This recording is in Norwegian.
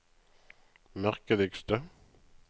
merkeligste